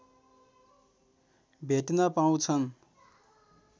भेट्न पाउछन्